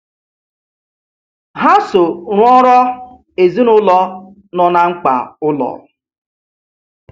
Ha so rụọrọ ezinụụlọ no na mkpa ụlọ.